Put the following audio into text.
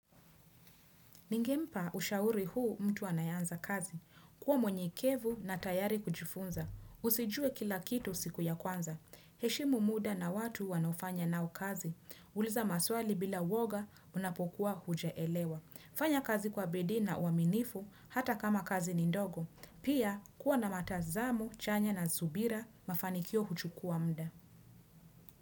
Ningempa ushauri huu mtu anayanza kazi. Kuwa mwenyekevu na tayari kujifunza. Usijue kila kitu siku ya kwanza. Heshimu muda na watu wanofanya nao kazi. Uliza maswali bila woga unapokuwa hujaelewa. Fanya kazi kwa bedii na uaminifu hata kama kazi ni ndogo. Pia kuwa na matazamu, chanya na zubira mafanikio huchukua mda.